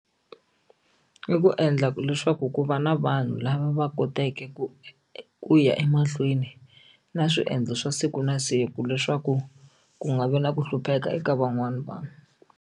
I ku endla leswaku ku va na vanhu lava va kotaka ku ku ya emahlweni na swiendlo swa siku na siku leswaku ku nga vi na ku hlupheka eka van'wani vanhu.